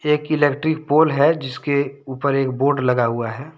एक electric pole है जिसके ऊपर एक बोर्ड लगा हुआ है।